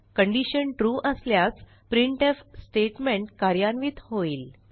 condition true असल्यास printf statement कार्यान्वित होईल